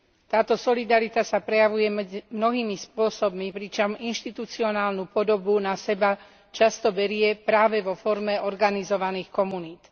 Táto solidarita sa prejavuje medzi mnohými spôsobmi, pričom inštitucionálnu podobu na seba často berie práve vo forme organizovaných komunít.